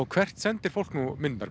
hvert sendir fólk svo myndirnar